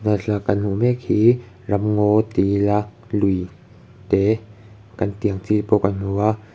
tuna thlalak a kan hmuh mek hi ram ngaw ti ila lui te kan tih ang chi pawh kan hmu a.